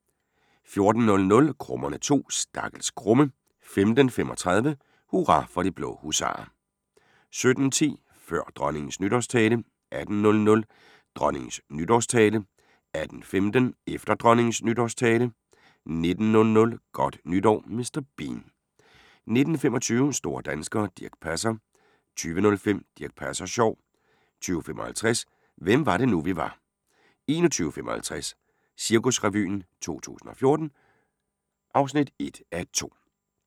14:00: Krummerne 2: Stakkels Krumme 15:35: Hurra for de blå husarer 17:10: Før Dronningens Nytårstale 18:00: Dronningens nytårstale 18:15: Efter Dronningens nytårstale 19:00: Godt nytår Mr. Bean 19:25: Store danskere - Dirch Passer 20:05: Dirch Passer Sjov 20:55: Hvem var det nu, vi var 21:55: Cirkusrevyen 2014 (1:2)